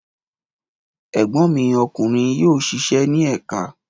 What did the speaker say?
Ẹ̀gbọ́n mi ọkùnrin yóò ṣiṣẹ́ ní ẹ̀ka.